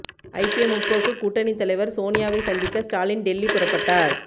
ஐக்கிய முற்போக்கு கூட்டணித் தலைவர் சோனியாவை சந்திக்க ஸ்டாலின் டெல்லி புறப்பட்டார்